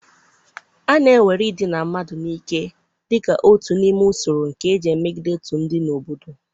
A na-ewere idina mmadụ n'ike dị ka otu n'ime usoro nke eji emegide otu ndị n'obodo.